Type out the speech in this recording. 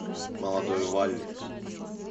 молодой валли